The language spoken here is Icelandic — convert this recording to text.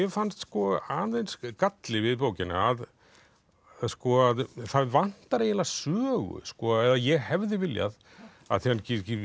fannst aðeins galli við bókina að það vantar eiginlega sögu eða ég hefði viljað af því hann